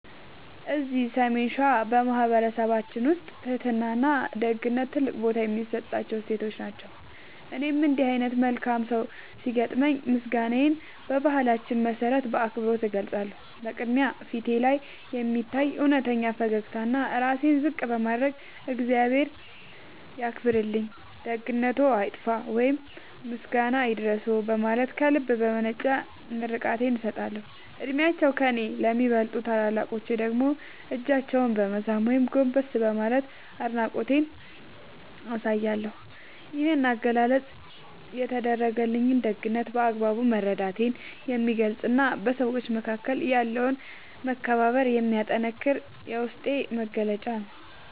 እዚህ ሰሜን ሸዋ በማኅበረሰባችን ውስጥ ትሕትናና ደግነት ትልቅ ቦታ የሚሰጣቸው እሴቶች ናቸው። እኔም እንዲህ ዓይነት መልካም ሰው ሲያጋጥመኝ ምስጋናዬን በባህላችን መሠረት በአክብሮት እገልጻለሁ። በቅድሚያ፣ ፊቴ ላይ በሚታይ እውነተኛ ፈገግታና ራሴን ዝቅ በማድረግ "እግዚአብሔር ያክብርልኝ፣ ደግነትዎ አይጥፋ" ወይም "ምስጋና ይድረስዎ" በማለት ከልብ የመነጨ ምርቃቴን እሰጣለሁ። ዕድሜያቸው ከእኔ ለሚበልጡ ታላላቆች ደግሞ እጃቸውን በመሳም ወይም ጎንበስ በማለት አድናቆቴን አሳያለሁ። ይህ አገላለጽ የተደረገልኝን ደግነት በአግባቡ መረዳቴን የሚገልጽና በሰዎች መካከል ያለውን መከባበር የሚያጠነክር የውስጤ መግለጫ ነው።